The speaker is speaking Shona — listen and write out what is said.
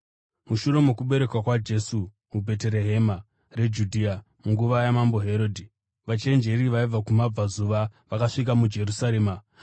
Mushure mokuberekwa kwaJesu muBheterehema reJudhea munguva yaMambo Herodhi, vachenjeri vaibva kumabvazuva vakasvika muJerusarema,